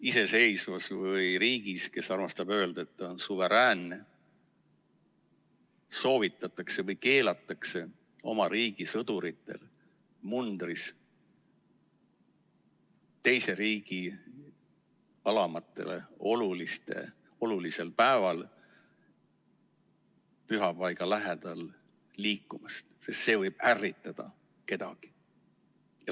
Iseseisvas riigis, kes armastab öelda, et ta on suveräänne, soovitatakse oma sõduritel mundrit mitte kanda, kui nad teise riigi alamatele olulisel päeval pühapaiga lähedal liiguvad, sest see võib kedagi ärritada.